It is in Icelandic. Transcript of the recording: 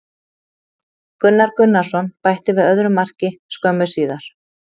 Gunnar Gunnarsson bætti við öðru marki skömmu síðar.